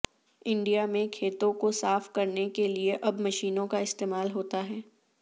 India میں کھیتوں کو صاف کرنے کے لیے اب مشینوں کا استعمال ہوتا ہے